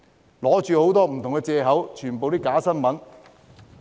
他們用的很多不同藉口全都是假新聞。